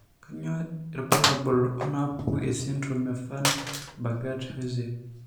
Kainyio irbulabul onaapuku esindirom eVan Bogaert Hozay?